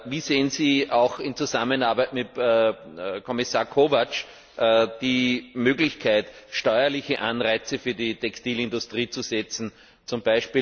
Wie sehen Sie auch in Zusammenarbeit mit Kommissar Kovács die Möglichkeit, steuerliche Anreize für die Textilindustrie zu setzen, z.